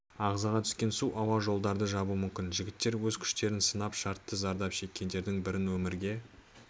ағзаға түскен су ауа жолдарды жабуы мүмкін жігіттер өз күштерін сынап шартты зардап шеккендердің бірін өмірге